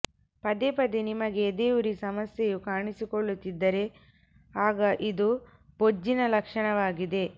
ಪದೇ ಪದೇ ನಿಮಗೆ ಎದೆಯುರಿ ಸಮಸ್ಯೆಯು ಕಾಣಿಸಿಕೊಳ್ಳುತ್ತಿದ್ದರೆ ಆಗ ಇದು ಬೊಜ್ಜಿನ ಲಕ್ಷಣವಾಗಿದೆ